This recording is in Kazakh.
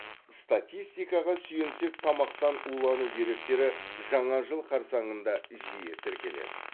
статистикаға сүйенсек тамақтан улану деректері жаңа жыл қарсаңында жиі тіркеледі